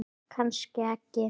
Kannski ekki.